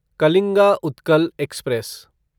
Kalinga Utkal express